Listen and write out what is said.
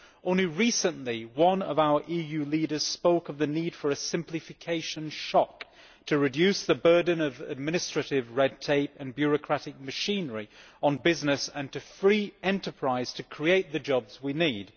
Only recently, one of our EU leaders spoke of the need for a simplification shock to reduce the burden of administrative red tape and bureaucratic machinery on business, and to free enterprise to create the jobs we need.